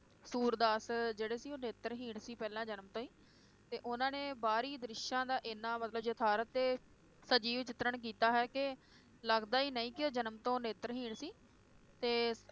ਸੂਰਦਾਸ ਜਿਹੜੇ ਸੀ ਉਹ ਨੇਤਰਹੀਣ ਸੀ ਪਹਿਲਾਂ ਜਨਮ ਤੋਂ ਹੀ ਤੇ ਉਹਨਾਂ ਨੇ ਬਾਹਰੀ ਦ੍ਰਿਸ਼ਾਂ ਦਾ ਇਹਨਾਂ ਮਤਲਬ ਯਥਾਰਤ ਤੇ ਸਜੀਵ ਚਿਤਰਣ ਕੀਤਾ ਹੈ ਕਿ ਲੱਗਦਾ ਹੀ ਨਹੀਂ ਕਿ ਉਹ ਜਨਮ ਤੋਂ ਨੇਤਰਹੀਣ ਸੀ ਤੇ